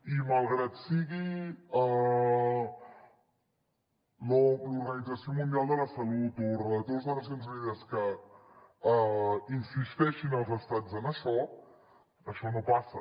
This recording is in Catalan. i malgrat que sigui l’organització mundial de la salut o els relators de nacions unides els que insisteixin als estats en això això no passa